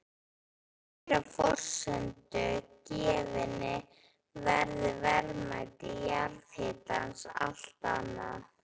Að þeirri forsendu gefinni verður verðmæti jarðhitans allt annað.